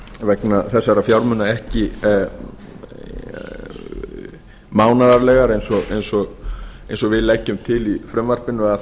vegna þessara fjármuna ekki mánaðarlega eins og við leggjum til í frumvarpinu